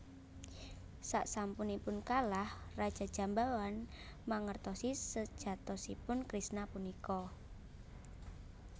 Saksampunipun kalah Raja Jambawan mangertosi sejatosipun Kresna punika